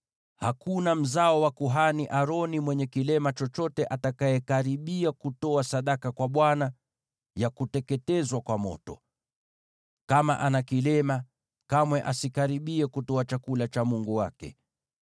Hakuna mzao wa kuhani Aroni mwenye kilema chochote atakayekaribia kutoa sadaka kwa Bwana ya kuteketezwa kwa moto. Kama ana kilema, kamwe asikaribie kutoa chakula cha Mungu wake.